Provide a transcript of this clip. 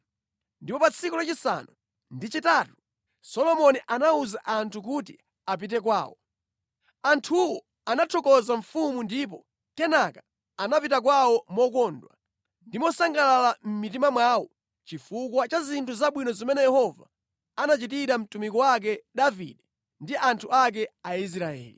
Pa tsiku lachisanu ndi chitatu Solomoni anawuza anthu kuti apite kwawo. Anthuwo anathokoza mfumu ndipo kenaka anapita kwawo mokondwa ndi mosangalala mʼmitima mwawo chifukwa cha zinthu zabwino zimene Yehova anachitira mtumiki wake Davide ndi anthu ake Aisraeli.